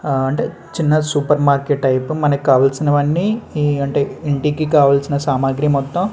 ఆ అంటే చిన్న సూపర్ మార్కెట్ టైపు లో మనకు కావలసినవన్నీ ఈ అంటే ఇంటికి కావాల్సిన సామాగ్రి మొత్తం --